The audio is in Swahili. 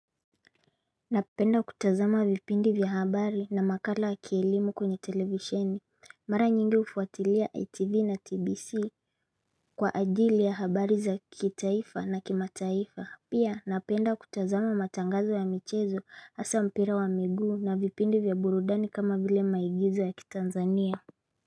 Napenda kutazama vipindi vya habari na makala ya kielimu kwenye televisheni mara nyingi hufuatilia ITV na TBC Kwa ajili ya habari za kitaifa na kimataifa Pia napenda kutazama matangazo ya michezo hasa mpira wa miguu na vipindi vya burudani kama vile maigizo ya kitanzania.